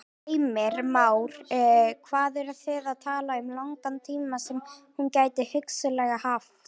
Heimir Már: Hvað eru þið að tala um langan tíma sem hún gæti hugsanlega haft?